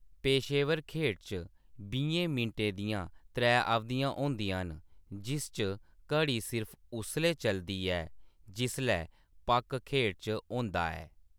पेशेवर खेढ च बीहें मिंटें दियां त्रै अवधियां होंदियां न, जिस च घड़ी सिर्फ उसलै चलदी ऐ जिसलै पक खेढ च होंदा ऐ।